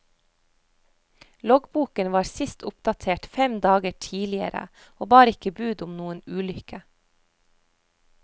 Loggboken var sist oppdatert fem dager tidligere, og bar ikke bud om noen ulykke.